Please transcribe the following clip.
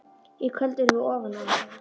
Í kvöld erum við ofan á.